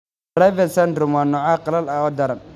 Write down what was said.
Dravet syndrome waa nooc qallal ah oo daran.